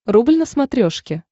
рубль на смотрешке